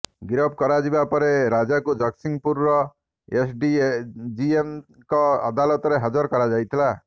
ଗିରଫ କରାଯିବା ପରେ ରାଜାକୁ ଜଗତସିଂହପୁର ଏସ୍ଡିଜିଏମ୍ଙ୍କ ଅଦାଲତରେ ହାଜର କରାଯାଇଥିଲା